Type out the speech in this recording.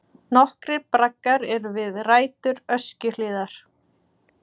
Nokkrir braggar eru við rætur Öskjuhlíðar.